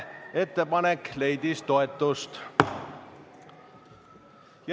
Ettepanek leidis toetust.